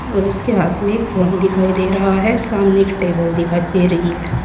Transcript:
और उसके हाथ में एक फोन दिखाई दे रहा है सामने एक टेबल दिखाई दे रही है।